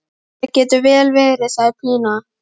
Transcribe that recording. Það getur vel verið, segir Pína.